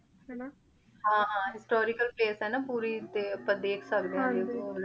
ਹਾਂ ਹਾਂ historical place ਆ ਨਾ ਪੋਰੀ ਤੇ ਆਪਾਂ ਦੇਖ ਸਕਦੇ ਆਂ ਦੇਖੋ ਹਾਂਜੀ